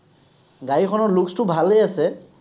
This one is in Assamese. গাড়ীখনৰ looks টো ভালেই আছে।